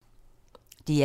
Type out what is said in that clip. DR1